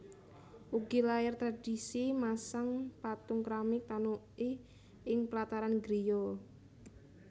Ugi lair tradisi masang patung keramik Tanuki ing plataran griya